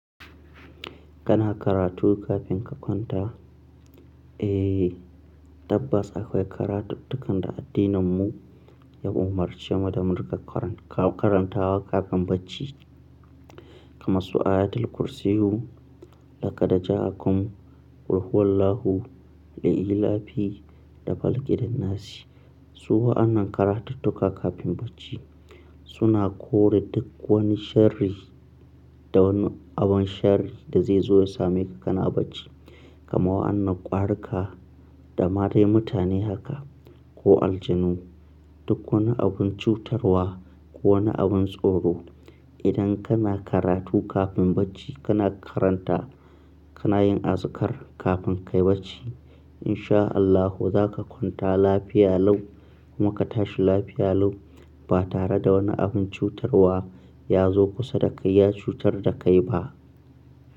Kana karatu kafin ka kwanta? Eh, tabbas akwai karatuttukan da addininmu ya umarce mu da mu riƙa karanta wa kafin bacci. Kamar su ayatul kursiyyu, laƙadijaa, akum, qul hu wallahu, da li, ila fi da falaƙi da nasi. Su wa'annan karatuttuka kafin bacci suna kore duk wani sharri da wani abin sharri da zai zo ya same ka kana bacci. Kamar waƴannan ƙwarika da ma dai mutane haka ko aljanu, duk wani abun cutarwa ko wani abun tsoro. Idan kana karatu kafin bacci kana karanta kana yin azkar kafin ka yi bacci. Insha Allahu za ka kwanta lafiya lau kuma ka tashi lafiya lau ba tare da wani abun cutarwa ya zo kusa da kai ya cutar da kai ba.